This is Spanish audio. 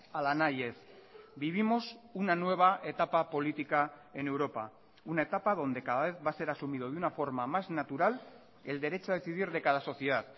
ala nahi ez vivimos una nueva etapa política en europa una etapa donde cada vez va a ser asumido de una forma más natural el derecho a decidir de cada sociedad